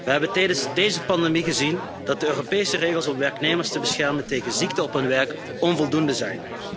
We hebben tijdens deze pandemie gezien dat de Europese regels om werknemers te beschermen tegen ziekten op hun werk onvoldoende zijn.